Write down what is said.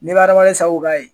Ni bɛ hadamaden sabu ka yen.